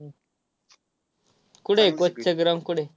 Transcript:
कुठं आहे coach चं ground कुठं आहे?